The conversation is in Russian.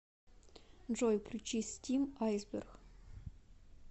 джой включи стим айсберг